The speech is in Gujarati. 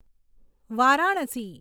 વારાણસી